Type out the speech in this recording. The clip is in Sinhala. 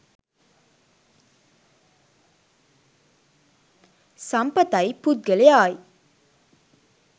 සම්පත යි පුද්ගලයා යි.